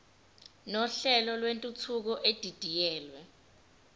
nohlelo lwentuthuko edidiyelwe